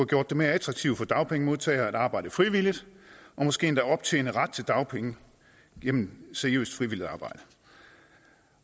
gjort det mere attraktivt for dagpengemodtagere at arbejde frivilligt og måske endda optjene ret til dagpenge gennem seriøst frivilligt arbejde